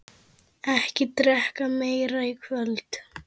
Ekki drekka meira í kvöld.